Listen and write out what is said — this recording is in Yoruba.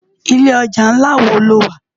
Ilé òjá nlá wó ló wá?